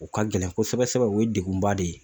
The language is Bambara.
U ka gɛlɛn kosɛbɛ sɛbɛ o ye degunba de ye